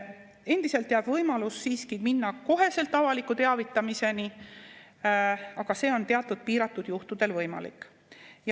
Endiselt jääb võimalus siiski minna kohe avaliku teavitamiseni, aga see on teatud piiratud juhtudel võimalik.